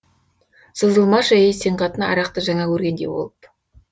сызылмашы ей сен қатын арақты жаңа көргендей болып